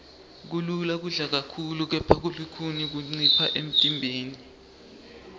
kulula kudla kakhulu kepha kulukhuni kuncipha emntimbeni